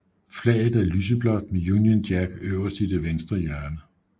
Flaget er lyseblåt med Union Jack øverst i det venstre hjørne